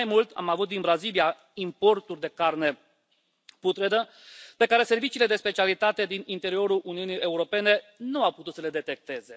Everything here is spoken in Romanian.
Mai mult, am avut din Brazilia importuri de carne putredă pe care serviciile de specialitate din interiorul Uniunii Europene nu au putut să le detecteze.